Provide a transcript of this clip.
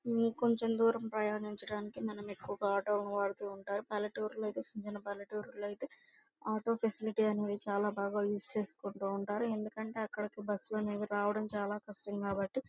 కొంచెం దూరం ప్రయాణిణచడానికి మనము ఎక్కువగా ఆటో లు వాడుట ఉంటాము పల్లెటూరు లో ఐతే చిన్న చిన్న పల్లెటూరు లో ఐతే ఆటో ఫెసిలిటీ చాలా బాగా యూస్ చేస్తుంటారు ఎందుకంటే అక్కడికి బస్సు లు అనేవి రావడం చాల కష్టం కాబ్బటి --